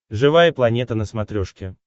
живая планета на смотрешке